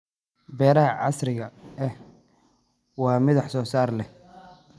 Beeraha casriga ahi waa mid wax soo saar sare leh.